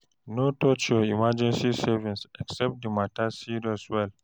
No touch your emergency savings except the matter serious well